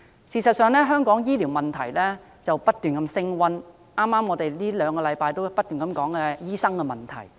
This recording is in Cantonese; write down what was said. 事實上，香港醫療問題近年不斷升溫，我們這兩星期亦不斷討論有關醫生的問題。